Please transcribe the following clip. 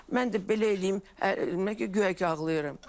Mən də belə eləyim, guya ki ağlayıram.